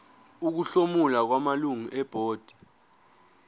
ukuhlomula kwamalungu ebhodi